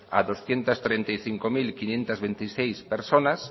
a doscientos treinta y cinco mil quinientos veintiséis personas